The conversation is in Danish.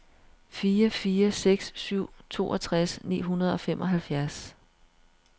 fire fire seks syv toogtres ni hundrede og femoghalvfjerds